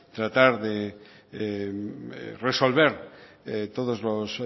tratar de resolver todos los